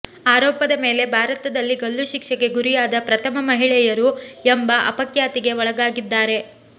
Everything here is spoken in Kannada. ಆರೋಪದ ಮೇಲೆ ಭಾರತದಲ್ಲಿ ಗಲ್ಲುಶಿಕ್ಷೆಗೆ ಗುರಿಯಾದ ಪ್ರಥಮ ಮಹಿಳೆಯರು ಎಂಬ ಅಪಖ್ಯಾತಿಗೆ ಒಳಗಾಗಿದ್ದಾರೆ